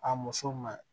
A muso ma